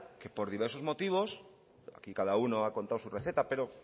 que por diversos motivos y aquí cada uno ha contado su receta pero